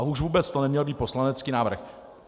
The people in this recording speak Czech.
A už vůbec to neměl být poslanecký návrh.